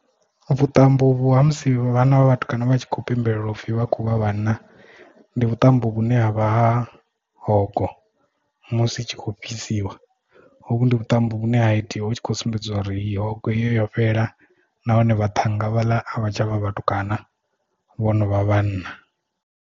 Vhuṱambo uvhu ha musi vhana vha vhatukana vha tshi khou pembelela upfhi vha khovha vhanna ndi vhuṱambo vhune havha hogo musi i tshi kho fhisiwa hovhu ndi vhuṱambo vhune ha itiwa hu tshi khou sumbedziwa uri iyo hogo iyo yo fhela nahone vha thanga huvhala a vha tsha vha vhatukana vhonovha vhanna.